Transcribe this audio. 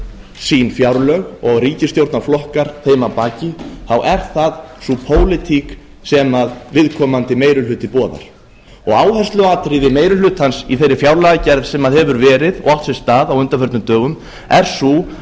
sín fjárlög og ríkisstjórnarflokkar þeim að baki þá er það sú pólitík sem viðkomandi meiri hluti boðar áhersluatriði meiri hlutans í þeirri fjárlagagerð sem hefur verið og átt sér stað á undanförnum dögum er sú